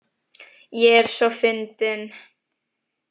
Ég er svo fyndin.